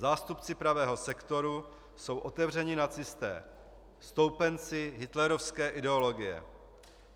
Zástupci pravého sektoru jsou otevření nacisté, stoupenci hitlerovské ideologie.